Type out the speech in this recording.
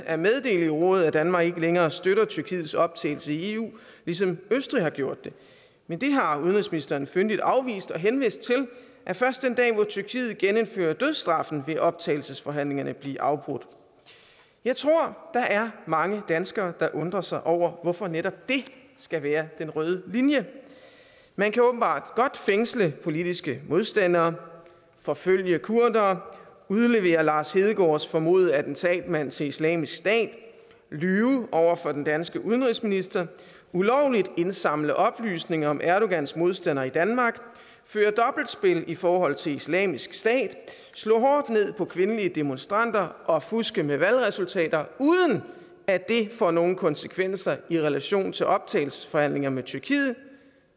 at meddele i rådet at danmark ikke længere støtter tyrkiets optagelse i eu ligesom østrig har gjort det men det har udenrigsministeren fyndigt afvist og henvist til at først den dag hvor tyrkiet genindfører dødsstraffen vil optagelsesforhandlingerne blive afbrudt jeg tror der er mange danskere der undrer sig over hvorfor netop det skal være den røde linje man kan åbenbart godt fængsle politiske modstandere forfølge kurdere udlevere lars hedegaards formodede attentatmand til islamisk stat lyve over for den danske udenrigsminister ulovligt indsamle oplysninger om erdogans modstandere i danmark føre dobbeltspil i forhold til islamisk stat slå hårdt ned på kvindelige demonstranter og fuske med valgresultater uden at det får nogen konsekvenser i relation til optagelsesforhandlinger med tyrkiet